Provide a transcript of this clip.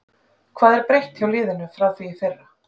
Hvað er breytt hjá liðinu frá því í fyrra?